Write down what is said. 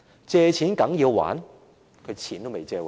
"借錢梗要還"？